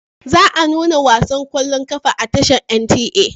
Za a nuna wasan ƙwallon ƙafar a tashar NTA.